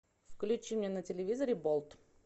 включи мне на телевизоре болт